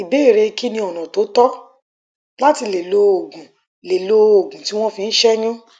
ìbéèrè kí ni ọnà tó tọ láti lè lo òògun lè lo òògun tí wọn fi ń ṣẹyún